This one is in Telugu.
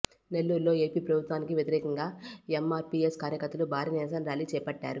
నెల్లూరులో ఏపీ ప్రభుత్వానికి వ్యతిరేకంగా ఎమ్మార్పీఎస్ కార్యకర్తలు భారీ నిరసన ర్యాలీ చేపట్టారు